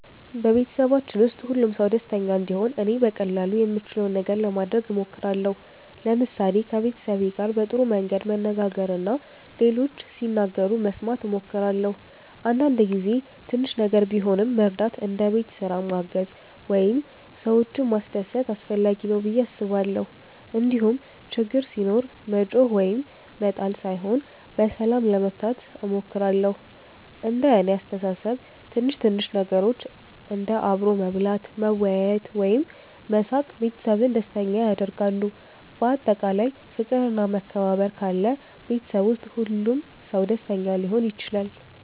በቤተሰባችን ውስጥ ሁሉም ሰው ደስተኛ እንዲሆን እኔ በቀላሉ የምችለውን ነገር ለማድረግ እሞክራለሁ። ለምሳሌ ከቤተሰቤ ጋር በጥሩ መንገድ መነጋገር እና ሌሎች ሲናገሩ መስማት እሞክራለሁ። አንዳንድ ጊዜ ትንሽ ነገር ቢሆንም መርዳት እንደ ቤት ስራ ማገዝ ወይም ሰዎችን ማስደሰት አስፈላጊ ነው ብዬ አስባለሁ። እንዲሁም ችግር ሲኖር መጮኽ ወይም መጣል ሳይሆን በሰላም ለመፍታት እሞክራለሁ። እንደ እኔ አስተሳሰብ ትንሽ ትንሽ ነገሮች እንደ አብሮ መብላት፣ መወያየት ወይም መሳቅ ቤተሰብን ደስተኛ ያደርጋሉ። በአጠቃላይ ፍቅር እና መከባበር ካለ ቤተሰብ ውስጥ ሁሉም ሰው ደስተኛ ሊሆን ይችላል።